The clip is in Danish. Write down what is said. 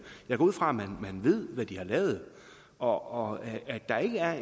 jeg går ud fra man ved hvad de har lavet og at der ikke er